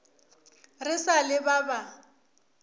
re sa le ba ba